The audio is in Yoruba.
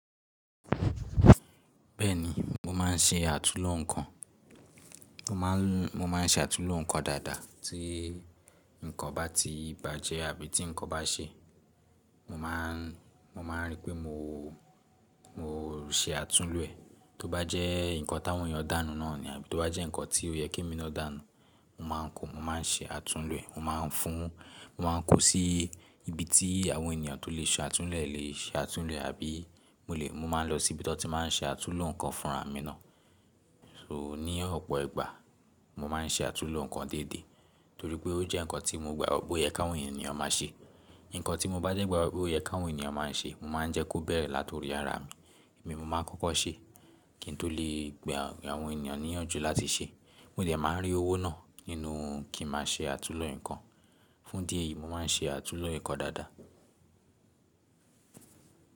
Bẹ́ẹ̀ni, mo máa ń ṣe àtúnlo nǹkan. Mo máa ń ṣe àtúnlo nǹkan dáadáa. Tí nǹkan bá ti bàjẹ́ àbí tí nǹkan bá ṣe, mo máa rí pé mo ṣe àtúnlo rẹ̀. Tó bá jẹ́ nǹkan ti awọn ènìyàn dànu náà ni àbí tó bá jẹ́ nǹkan tí ó yẹ kí emi náà dànu, mo máa ń kọ, mo máa ń ṣe àtúnlo ẹ̀. Mo máa ń fún, mo máa ń kó sí ibi tí àwọn ènìyàn tó lè ṣe àtúnlo lè ṣe àtúnlo àbí mo máa ń lọ sí ibi tí wọ́n ti máa ń ṣe àtúnlo nǹkan fúnra mi náà. So ní ọ̀pọ̀ ìgbà mo máa ń ṣe àtúnlo nǹkan déédéé torí pé ó jẹ́ nǹkan tí mo gbagbọ pẹ oye ki awọn ènìyàn máa ṣe. Nǹkan tí mo bá dẹ́ gbagbi pé ó yẹ ki awọn ènìyàn máa ń ṣe, mo máa ń jẹ́ kó bẹ̀rẹ̀ láti orí ara mi. Èmi ni mo máa ń kọ́kọ́ ṣe kí n tó lè gba àwọn ènìyàn níyànjú láti ṣe. Mo dẹ̀ máa ń rí owó náà nínú kí n máa ṣe àtúnlo nǹkan. Fún idi eyìí, mo máa ń ṣe àtúnlo nǹkan dáadáa.